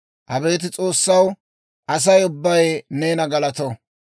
Abeet S'oossaw, Asay neena galato; asay ubbay neena galato.